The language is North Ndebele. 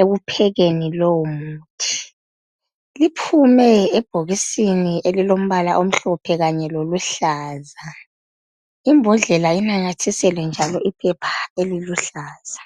ekuphekeni lowo muthi. Liphume ebhokisini elilombala omhlophe kanye loluhlaza. Imbodlela inamathiselwe njalo iphepha eliluhlaza.